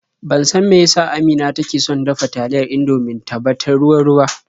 Ban san me ya sa Amina take son dafa taliyar Indomin ta ba ta ruwa-ruwa.